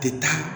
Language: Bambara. Tɛ taa